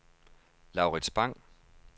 Laurits Bang